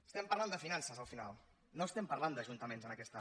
estem parlant de finances al final no estem par·lant d’ajuntaments en aquesta